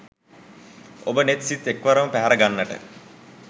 ඔබ නෙත් සිත් එක්වරම පැහැර ගන්නට